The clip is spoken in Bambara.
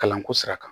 Kalanko sira kan